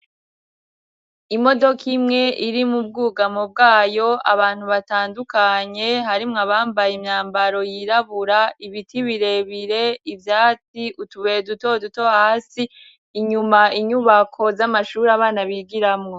Imodoka imwe iri mu bwugamo bwayo, abantu batandukanye harimwo abambaye imyambaro yirabura, iibiti birebire, ivyati utubuye dutoduto hasi, inyuma inyubako z'amashuri abana bigiramo.